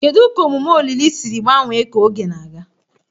Kedu ka omume olili siri gbanwee ka oge na-aga?